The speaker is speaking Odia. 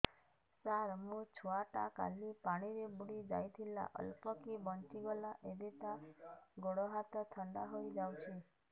ସାର ମୋ ଛୁଆ ଟା କାଲି ପାଣି ରେ ବୁଡି ଯାଇଥିଲା ଅଳ୍ପ କି ବଞ୍ଚି ଗଲା ଏବେ ତା ଗୋଡ଼ ହାତ ଥଣ୍ଡା ହେଇଯାଉଛି